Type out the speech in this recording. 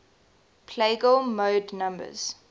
plagal mode numbers